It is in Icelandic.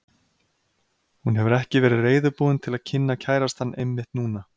Hún hefur ekki verið reiðubúin til að kynna kærastann einmitt núna.